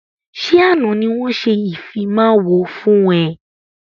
Ṣé àna ni wọn ṣe ìfimawo fún ẹ?